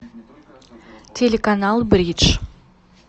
телеканал бридж